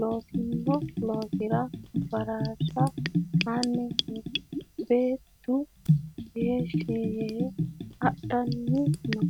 loosino loosira baraarsha aanni no. Beetuno heeshi yee adhanni no.